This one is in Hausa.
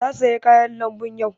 Ta saya kayan lambu yau